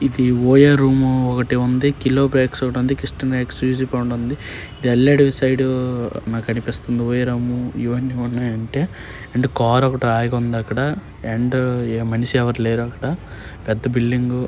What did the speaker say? ఒయే room ఒక్కటే ఉంది kilo bags ఒకటి ఉంది కృష్ణన్న ఎక్స్లుసివ్ బాండ్ ఉంది వెళ్ళాడు ఇటు సైడ్ నాకనిపిస్తుంది ఒయే రూమ్ ఇవన్ని ఉన్నాయంటే అండ్ కార్ ఒకటి ఆగి ఉంది అక్కడ అండ్ ఏమనిషి ఎవరు లేరక్కడ. పెద్ద బిల్డింగు.